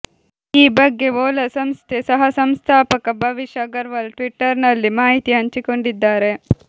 ಈ ಬಗ್ಗೆ ಓಲಾ ಸಂಸ್ಥೆ ಸಹಸಂಸ್ಥಾಪಕ ಭವಿಷ್ ಅಗರ್ವಾಲ್ ಟ್ವಿಟರ್ ನಲ್ಲಿ ಮಾಹಿತಿ ಹಂಚಿಕೊಂಡಿದ್ದಾರೆ